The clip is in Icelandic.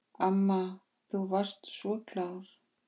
Amma þú varst svo klár.